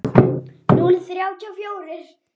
Núll þrjátíu og fjórir.